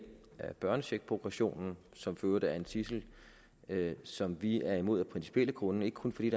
børnecheckprogressionen som for øvrigt er en tidsel som vi er imod af principielle grunde ikke kun fordi